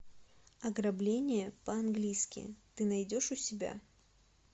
ограбление по английски ты найдешь у себя